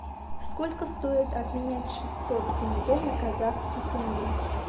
сколько стоит обменять шестьсот тенге на казахский тенге